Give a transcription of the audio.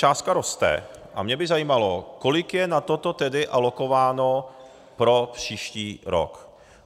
částka roste, a mě by zajímalo, kolik je na toto tedy alokováno pro příští rok.